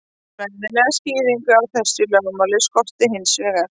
Fræðilega skýringu á þessu lögmáli skorti hins vegar.